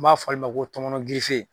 N b'a fɔ ale ma ko tɔmɔnɔ girife.